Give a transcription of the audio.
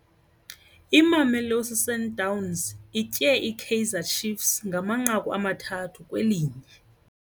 Imamelosi Sundowns itye iKaizer Chiefs ngamanqaku amathathu kwelinye.